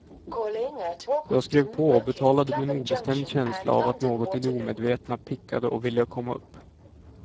Jag skrev på och betalade med en obestämd känsla av att något i det omedvetna pickade och ville komma upp.